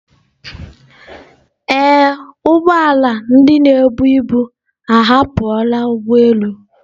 Ee, ụgbọ ala ndị na-ebu ebu ahapụla ụgbọ elu